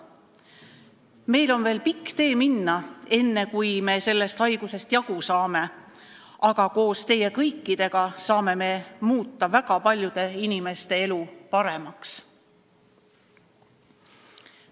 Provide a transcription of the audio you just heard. Meil on veel pikk tee minna, enne kui me sellest haigusest jagu saame, aga koos teie kõikidega saame me muuta väga paljude inimeste elu paremaks.